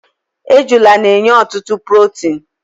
ejula na-enye ọtụtụ protin